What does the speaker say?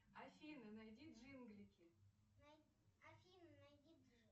афина найди джинглики